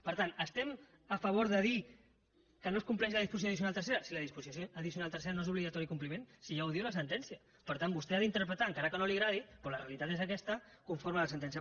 per tant estem a favor de dir que no es compleix la disposició addicional tercera si la disposició addicional tercera no és d’obligatori compliment si ja ho diu la sentència per tant vostè ha d’interpretar encara que no li agradi però la realitat és aquesta conforme a la sentència